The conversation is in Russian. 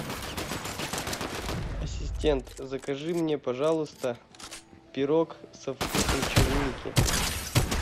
ассистент закажи мне пожалуйста пирог со вкусом черники